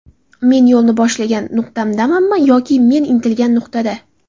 Men yo‘lni boshlagan nuqtadamanmi yoki men intilgan nuqtada?